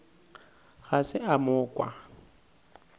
ga se a mo kwa